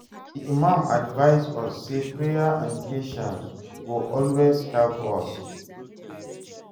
Di imam advice us say prayer and patience go always help us.